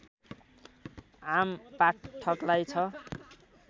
आमपाठकलाई छ